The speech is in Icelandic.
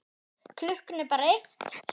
Klukkan er bara eitt, sagði